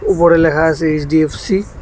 উপরে লেখা আছে এইচ_ডি_এফ_সি ।